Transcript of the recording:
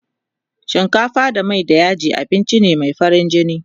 shinkafa da Mai da yaji abinci ne Mai farin jini